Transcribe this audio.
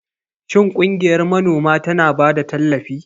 Shin ƙungiyar manoma tana ba da tallafi?